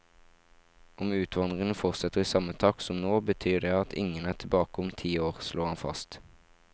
Om utvandringen fortsetter i samme takt som nå, betyr det at ingen er tilbake om ti år, slår han fast.